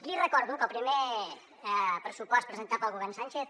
li recordo que el primer pressupost presentat pel govern sánchez